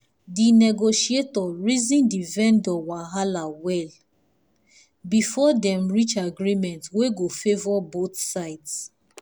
the negotiator reason the vendor wahala well before dem reach agreement wey go favour both sides.